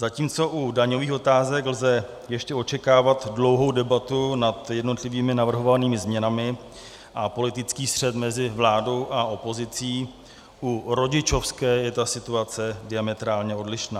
Zatímco u daňových otázek lze ještě očekávat dlouhou debatu nad jednotlivými navrhovanými změnami a politický střet mezi vládou a opozicí, u rodičovské je ta situace diametrálně odlišná.